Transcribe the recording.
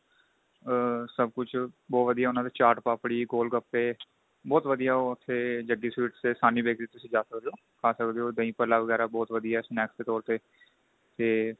ਆ ਸਭ ਕੁੱਝ ਬਹੁਤ ਵਧੀਆ ਉਹਨਾ ਦੇ ਚਾਟ ਪਾਪੜੀ ਗੋਲ ਗਪੇ ਬਹੁਤ ਵਧੀਆ ਉੱਥੇ jaggi sweets ਤੇ sahni bakery ਤੁਸੀਂ ਜਾ ਸਕਦੇ ਓ ਖਾ ਸਕਦੇ ਓ ਦਹੀ ਭਲਾ ਵਗੈਰਾ ਬਹੁਤ ਵਧੀਆ snacks ਦੇ ਤੋਰ ਤੇ ਤੇ